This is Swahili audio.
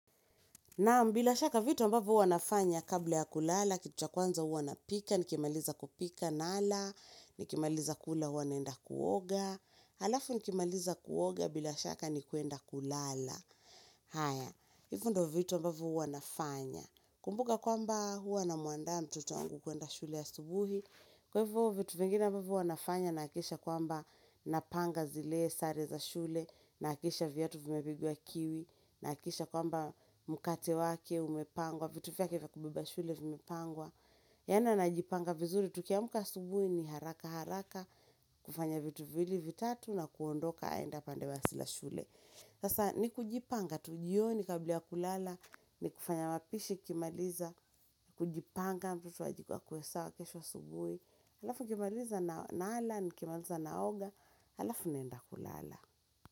Naam bila shaka vitu ambavyo huwa nafanya kabla ya kulala, kitu cha kwanza huwa napika, nikimaliza kupika nala, nikimaliza kula huwa naenda kuoga, alafu nikimaliza kuoga bila shaka ni kuenda kulala. Haya, hivyo ndiyo vitu ambavyo huwa nafanya. Kumbuka kwamba huwa namwandaa mtoto wangu kuenda shule asubuhi, kwa hivyo vitu vingine ambavyo huwa nafanya nahakikisha kwamba napanga zile sare za shule, nahakikisha viatu vimepigwa kiwi, nahakikisha kwamba mkate wake umepangwa, vitu vyake vya kubeba shule vimepangwa. Yaani anajipanga vizuri, tukiamka asubuhi ni haraka haraka, kufanya vitu viwili vitatu na kuondoka aende upande wa shule. Sasa ni kujipanga tu jioni kabla kulala ni kufanya mapishi nikimaliza kujipanga mtoto akuwe sawa kesho asubuhi Halafu nikimaliza nala nikimaliza naoga alafu naenda kulala.